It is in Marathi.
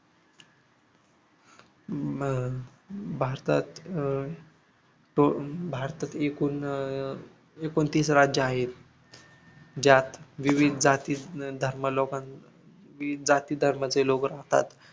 हम्म अह भारतात अह भारतात एकोण अह एकोणतीस राज्य आहेत ज्यात विविध जाती धर्मलोकां विविध जाती धर्मांचे लोक राहतात